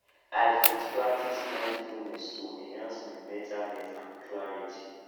i fit practice mindfulness to enhance my mental health and clarity